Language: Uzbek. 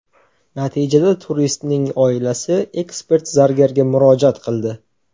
Natijada turistning oilasi ekspert zargarga murojaat qildi.